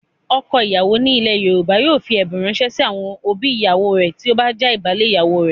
Ọkọ ìyàwó ni ilẹ̀ Yorùbá yóò fi ẹ̀bùn ránṣẹ́ sí àwọn òbí ìyàwó rẹ̀ tí ó bá jàbálé ìyàwó rẹ̀.